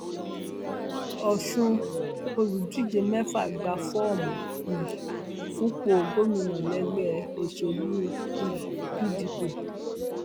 ọṣùn olùdíje mẹfà gba fọọmù um fúnpọ gómìnà lẹgbẹ òṣèlú um pdp